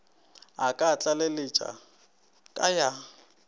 a ka tlaleletša ka ya